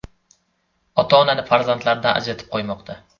Ota-onani farzandlardan ajratib qo‘ymoqda”.